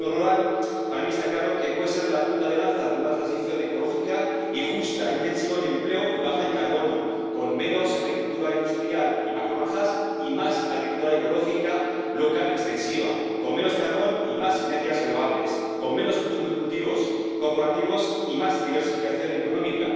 Para mí está claro que el mundo rural puede ser la punta de lanza de una transición ecológica y justa, intensiva en empleo y baja en carbono, con menos agricultura industrial y macrogranjas y más agricultura ecológica, local y extensiva, con menos carbón y más energías renovables, con menos monocultivos corporativos y más diversificación económica.